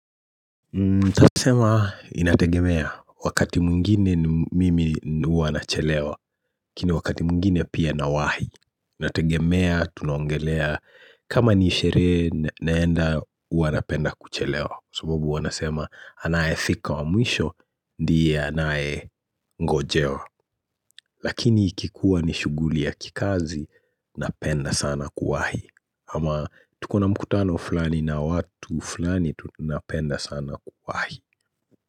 Sasa nasema inategemea wakati mwingine mimi huwa nachelewa lakini wakati mwingine pia nawahi Inategemea tunaongelea kama ni sherehe naenda huwa napenda kuchelewa sababu huwa wanasema anaye fika wa mwisho ndiye anaye ngojewa Lakini ikikuwa ni shughuli ya kikazi, napenda sana kuwahi ama tuko na mkutano fulani na watu fulani tunapenda sana kuwahi.